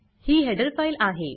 ही header file file आहे